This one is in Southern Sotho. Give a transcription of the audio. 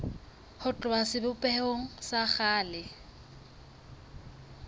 ho tloha sebopehong sa kgale